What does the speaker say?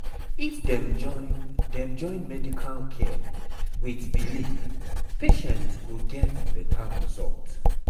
if dem join dem join medical care with belief patient go get better result